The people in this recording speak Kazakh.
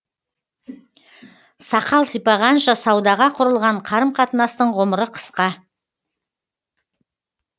сақал сипағанша саудаға құрылған қарым қатынастың ғұмыры қысқа